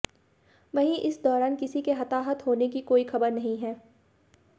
वहीं इस दौरान किसी के हताहत होने की कोई खबर नहीं है